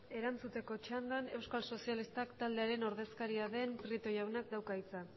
erantzuteko txandan euskal sozialistak taldearen ordezkaria den prieto jaunak dauka hitza